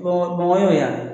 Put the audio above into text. Bamakɔ y'o ye wa